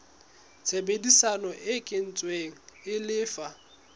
tshebedisano e kwetsweng e lefa